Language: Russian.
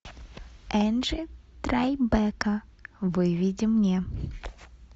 энджи трайбека выведи мне